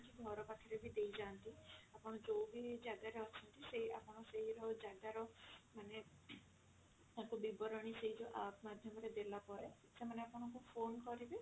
ଘର ପାଖରେ ବି ଦେଇ ଯାଆନ୍ତି ଆପଣ ଯଉ ବି ଜାଗା ରେ ଅଛନ୍ତି ସେଇ ଆପଣ ସେଇ ର ଜାଗା ର ମାନେ ତାଙ୍କ ବିବରଣୀ ସେଇ ଯଉ app ମାଧ୍ୟମ ରେ ଦେଲା ପରେ ସେମାନେ ଆପଣଙ୍କୁ phone କରିବେ